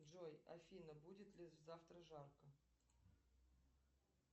джой афина будет ли завтра жарко